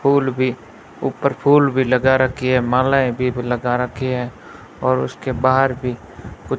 फूल भीं ऊपर फूल भीं लगा रखीं है मालाएँ भीं लगा रखीं हैं और उसके बाहर भीं कु --